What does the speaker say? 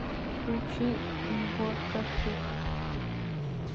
включи егоркашип